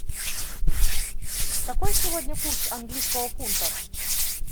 какой сегодня курс английского фунта